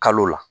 Kalo la